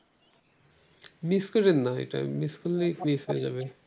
miss করেন না এটা miss করলে case হয়ে যাবে ।